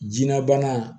Jinɛ bana